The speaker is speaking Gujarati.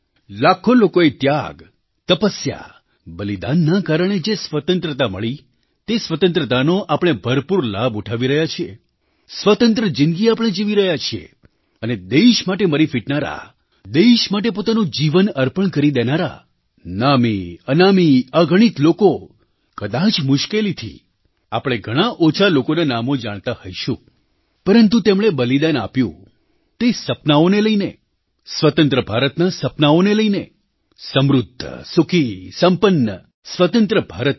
લાખો લોકોએ ત્યાગ તપસ્યા બલિદાનના કારણે જેસ્વતંત્રતા મળી તે સ્વતંત્રતાનો આપણે ભરપૂર લાભ ઉઠાવી રહ્યા છીએ સ્વતંત્ર જિંદગી આપણે જીવી રહ્યાં છીએ અને દેશ માટે મરી ફીટનારા દેશ માટે પોતાનું જીવન અર્પણ કરી દેનારા નામીઅનામી અગણિત લોકો કદાચ મુશ્કેલીથી આપણે ઘણા ઓછા લોકોનાં નામો જાણતાં હોઈશું પરંતુ તેમણે બલિદાન આપ્યું તે સપનાંઓને લઈને સ્વતંત્ર ભારતનાં સપનાંઓને લઈને સમૃદ્ધ સુખી સંપન્ન સ્વતંત્ર ભારત માટે